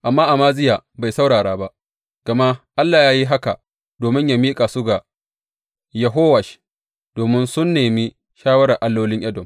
Amma Amaziya bai saurara ba gama Allah ya yi haka domin yă miƙa su ga Yehowash, domin sun nemi shawarar allolin Edom.